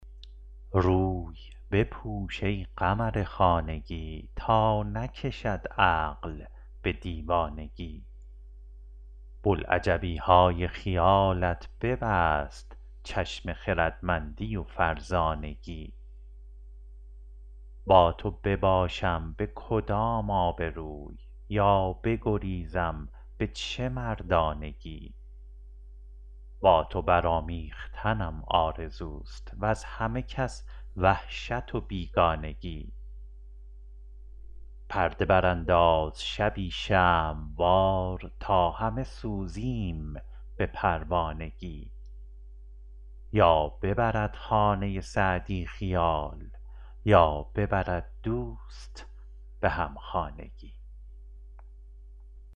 روی بپوش ای قمر خانگی تا نکشد عقل به دیوانگی بلعجبی های خیالت ببست چشم خردمندی و فرزانگی با تو بباشم به کدام آبروی یا بگریزم به چه مردانگی با تو برآمیختنم آرزوست وز همه کس وحشت و بیگانگی پرده برانداز شبی شمع وار تا همه سوزیم به پروانگی یا ببرد خانه سعدی خیال یا ببرد دوست به همخانگی